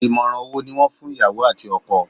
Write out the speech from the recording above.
Ìmọ̀ràn wo ni wọ́n fún ìyàwó àti ọkọ?